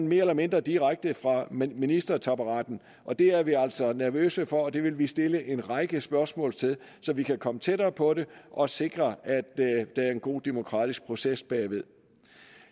mere eller mindre direkte fra ministertaburetten og det er vi altså nervøse for og det vil vi stille en række spørgsmål til så vi kan komme tættere på det og sikre at der er en god demokratisk proces bagved